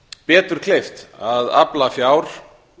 betur kleift að afla fjár